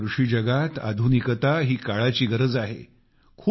भारताच्या कृषी जगात आधुनिकता ही काळाची गरज आहे